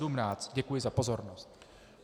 Děkuji za pozornost.